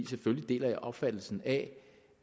selvfølgelig deler jeg opfattelsen af